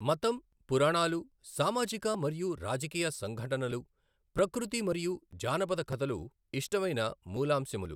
మతం, పురాణాలు, సామాజిక మరియు రాజకీయ సంఘటనలు, ప్రకృతి మరియు జానపద కథలు ఇష్టమైన మూలాంశములు.